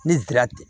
Ne dira ten